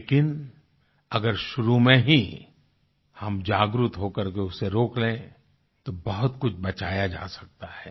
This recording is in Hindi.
लेकिन अगर शुरू में ही हम जागृत होकर के उसे रोक लें तो बहुत कुछ बचाया जा सकता है